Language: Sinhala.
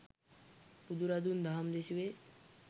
බුදුරදුන් දහම් දෙසුවේ